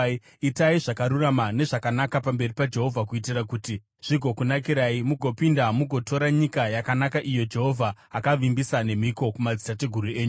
Itai zvakarurama nezvakanaka pamberi paJehovha, kuitira kuti zvigokunakirai, mugopinda mugotora nyika yakanaka iyo Jehovha akavimbisa nemhiko kumadzitateguru enyu,